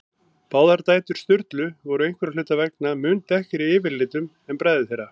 Báðar dætur Sturlu voru einhverra hluta vegna mun dekkri yfirlitum en bræður þeirra.